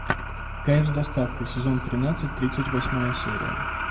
кайф с доставкой сезон тринадцать тридцать восьмая серия